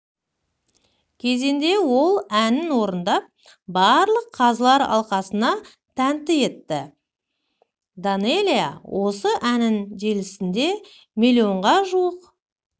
кезеңде ол әнін орындап барлық қазылар алқасына тәнті етті данэлия осы әнін желісінде миллионға жуық